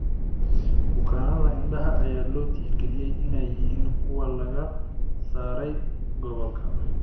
Bukaannada indhaha ayaa loo tixgaliyay inay yihiin kuwo laga saaray gobolka.